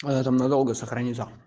она там надолго сохранится